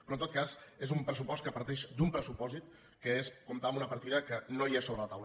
però en tot cas és un pressupost que parteix d’un pressupòsit que és comptar amb una partida que no hi és sobre la taula